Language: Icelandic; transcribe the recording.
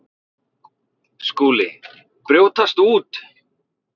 SKÚLI: Brjótast út!